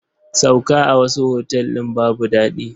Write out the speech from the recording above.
Sauka a wasu otal ɗin babu daɗi.